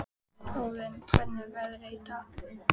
Óðinn, hvernig er veðrið í dag?